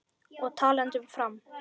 Og talandi um Fram.